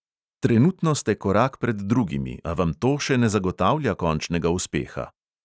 Trenutno ste korak pred drugimi, a vam to še ne zagotavlja končnega uspeha.